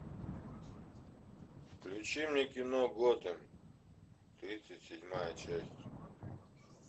включи мне кино готэм тридцать седьмая часть